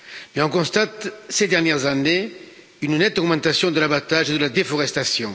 Mais on constate ces dernières années une nette augmentation de l'abattage et de la déforestation.